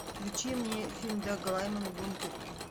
включи мне фильм дага лаймана бункер